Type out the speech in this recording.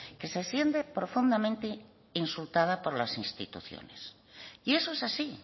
que se siente profundamente insultada por las instituciones y eso es así